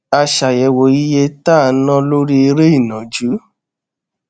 a ṣàyèwò iye tá à ń ná lórí eré ìnàjú